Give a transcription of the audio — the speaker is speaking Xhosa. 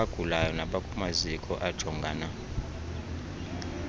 abagulayo nabakumaziko ajongana